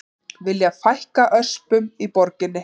Vilja fækka öspum í borginni